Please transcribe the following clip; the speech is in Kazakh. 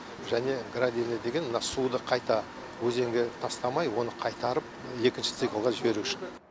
және гравилі деген мына суды қайта өзенге тастамай оны қайтарып екінші циклға жіберу үшін